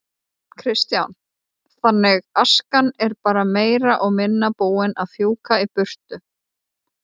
Kristján: Þannig askan er bara meira og minna búin að fjúka í burtu?